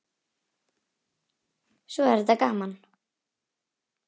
Svo er þetta gaman.